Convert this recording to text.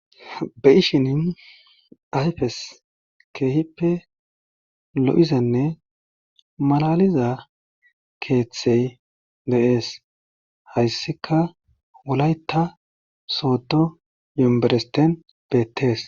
Be'ishinin ayfes keehippe lo7izenne malaliza keeththey de7ees hayssika wolayta sooto yomberesten beettees.